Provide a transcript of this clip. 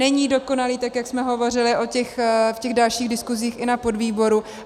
Není dokonalý, tak jak jsme hovořili v těch dalších diskusích i na podvýboru.